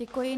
Děkuji.